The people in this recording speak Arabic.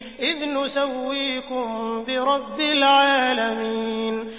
إِذْ نُسَوِّيكُم بِرَبِّ الْعَالَمِينَ